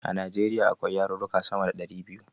A Najeriya akwai yaruka sama da ɗari biyu